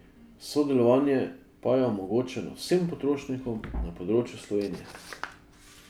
Sodelovanje pa je omogočeno vsem potrošnikom na področju Slovenije.